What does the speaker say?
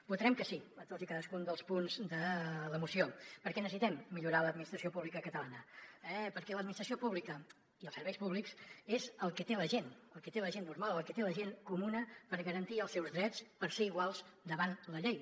votarem que sí a tots i cadascun dels punts de la moció perquè necessitem millorar l’administració pública catalana eh perquè l’administració pública i els serveis públics és el que té la gent el que té la gent normal el que té la gent comuna per garantir els seus drets per ser iguals davant la llei